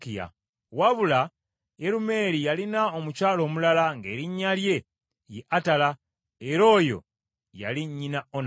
Wabula Yerumeeri yalina omukyala omulala ng’erinnya lye ye Atala, era oyo yali nnyina Onamu.